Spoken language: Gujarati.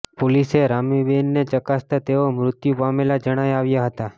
પોલીસે રામીબેનને ચકાસતા તેઓ મૃત્યુ પામેલા જણાઈ આવ્યા હતા